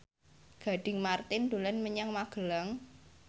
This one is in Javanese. Gading Marten dolan menyang Magelang